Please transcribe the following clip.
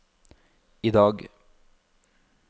idag